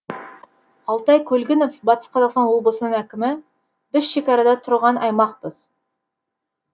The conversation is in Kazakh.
алтай көлгінов батыс қазақстан облысының әкімі біз шекарада тұрған аймақпыз